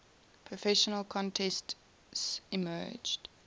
professional contests emerged